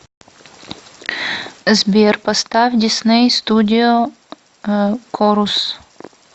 сбер поставь дисней студио корус